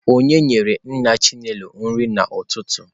Onye nyere nna Chinelo nri n'ụtụtụ?